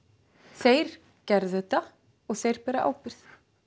þeir gerðu þetta og þeir bera ábyrgð